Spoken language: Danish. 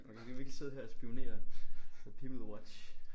Man kan virkelg sidde her og spionere. Peoplewatch